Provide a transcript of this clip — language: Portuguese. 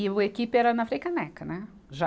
E o equipe era na Frei Caneca, né, já.